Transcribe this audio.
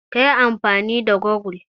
Ka yi amfani da gogul.